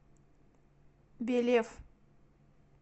белев